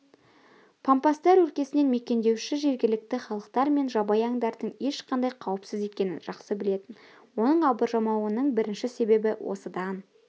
пампастар өлкесін мекендеуші жергілікті халықтар мен жабайы аңдардың ешқандай қауіпсіз екенін жақсы білетін оның абыржымауының бірінші себебі осыдан